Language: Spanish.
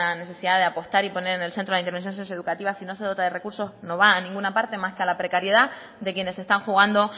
necesidad de apostar y poner en el centro de la intervenciones socioeducativas si no se dota de recursos no va a ninguna parte más que a la precariedad de quienes están jugando